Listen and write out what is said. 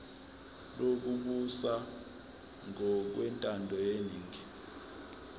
lokubusa ngokwentando yeningi